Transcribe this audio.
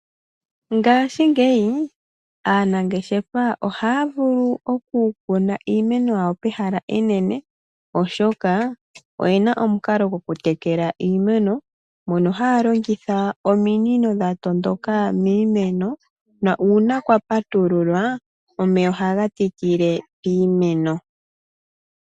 Ngashingeyi aanangeshefa ohaya vulu oku kuna iimeno yawo pehala enene oshoka, oyena omukalo gwokutekela iimeno moka haya longitha ominino dhatondoka miimeno na uuna kwapatululwa omeya ohaga tikile miimeno.